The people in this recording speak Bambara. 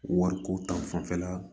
Wariko ta fanfɛla